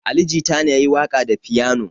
Ali Jita ne ya yi waƙa da fiyano.